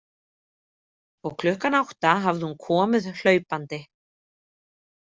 Og klukkan átta hafði hún komið hlaupandi.